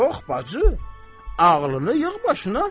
Yox, bacı, ağlını yığ başına.